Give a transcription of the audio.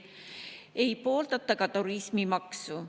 Ei pooldata ka turismimaksu.